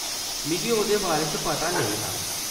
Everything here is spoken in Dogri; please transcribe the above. मिगी ओह्‌‌‌दे बारे च पता नेईं हा।